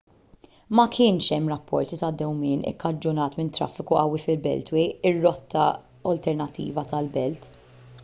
ma kienx hemm rapporti ta' dewmien ikkaġunat minn traffiku qawwi fil-beltway ir-rotta alternattiva tal-belt